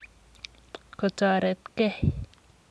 kotoretgei.